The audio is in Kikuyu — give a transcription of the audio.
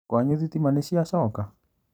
Kwanyu thitima nĩciacoka?